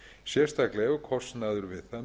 sérstaklega ef kostnaður